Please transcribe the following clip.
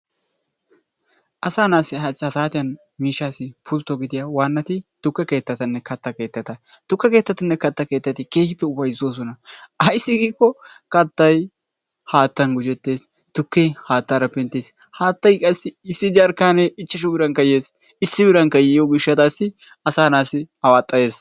asaa naassi ha saatiya miishshassi pultto gidiya waanati tukke keettatanne katta keetteta, tukke keettatinne katta keettati keehippe ufayssosona ayssi giiko kattay haattan gujjetees, tukke haattara penttees, haattay qassi issi jarkkanee ichchashsu birankka yees. issi birankka yiyyo gishshatassi asa naa'assi awaxxayees.